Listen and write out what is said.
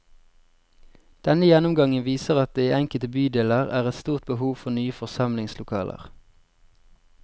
Denne gjennomgangen viser at det i enkelte bydeler er et stort behov for nye forsamlingslokaler.